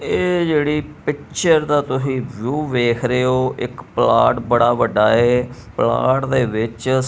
ਇਹ ਜਿਹੜੀ ਪਿੱਚਰ ਦਾ ਤੁਹੀ ਵਿਊ ਵੇਖ ਰਹੇ ਔ ਇੱਕ ਪਲਾਟ ਬੜਾ ਵੱਡਾ ਹੈ ਪਲਾਟ ਦੇ ਵਿੱਚ--